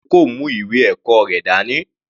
Ajao kò mú ìwé ẹ̀kọ́ rẹ̀ dání.